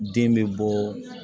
Den bɛ bɔɔ